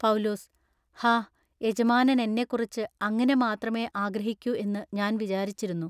പൗെലൂസ്-_ഹാ! യജമാനനെന്നെക്കുറിച്ച് അങ്ങിനെ മാത്രമെ ആഗ്രഹിക്കു എന്നു ഞാൻ വിചാരിച്ചിരുന്നു.